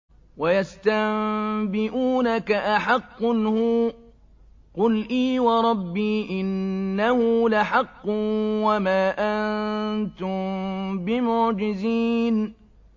۞ وَيَسْتَنبِئُونَكَ أَحَقٌّ هُوَ ۖ قُلْ إِي وَرَبِّي إِنَّهُ لَحَقٌّ ۖ وَمَا أَنتُم بِمُعْجِزِينَ